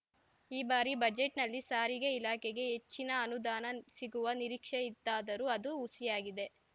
ಈ ಬಾರಿ ಬಜೆಟ್‌ನಲ್ಲಿ ಸಾರಿಗೆ ಇಲಾಖೆಗೆ ಹೆಚ್ಚಿನ ಅನುದಾನ ಸಿಗುವ ನಿರೀಕ್ಷೆ ಇತ್ತಾದರೂ ಅದು ಹುಸಿಯಾಗಿದೆ